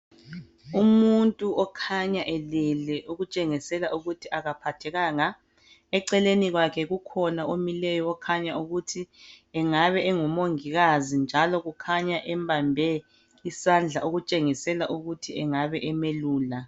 Umuntu okhanya elele okutshengisela ukuthi akaphathekanga. Eceleni kwakhe kukhonaomileyo okhanya ukuthi engaba engu momgikazi njalo kukhanya embambe isandla okutshengisela ukuthi engabe emelula